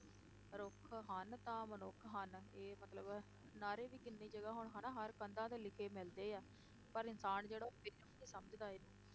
ਰੁੱਖ ਹਨ ਤਾਂ ਮਨੁੱਖ ਹਨ, ਇਹ ਮਤਲਬ ਨਾਅਰੇ ਵੀ ਕਿੰਨੀ ਜਗ੍ਹਾ ਹੁਣ ਹਨਾ ਹਰ ਕੰਧਾਂ ਤੇ ਲਿਖੇ ਮਿਲਦੇ ਆ, ਪਰ ਇਨਸਾਨ ਜਿਹੜਾ ਉਹ ਫਿਰ ਵੀ ਨੀ ਸਮਝਦਾ ਇਹਨੂੰ,